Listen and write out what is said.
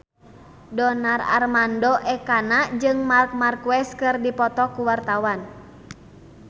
Donar Armando Ekana jeung Marc Marquez keur dipoto ku wartawan